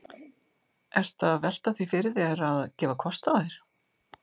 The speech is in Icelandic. Ertu að velta því fyrir þér að, að gefa kost á þér?